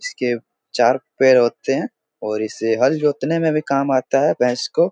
इसके चार पैर होते हैं और इसे हल जोतने में भी काम आता है भैंस को।